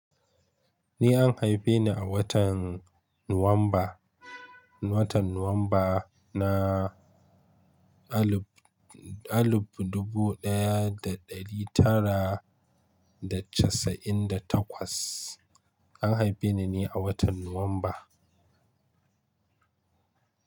Ni an haife ni a watan Nuwamba, watan Nuwamba na alif-alif dubu ɗaya da ɗari tara da casa'in da takwas. An haife ni ne a watan Nuwamba.